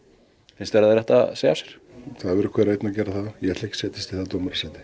finnst þér að þeir ættu að segja af sér það verður hver og einn að gera það ég ætla ekki að setjast í það dómarasæti